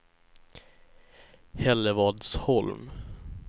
Hällevadsholm